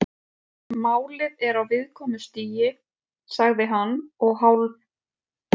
Málið er á viðkvæmu stigi- sagði hann og hálf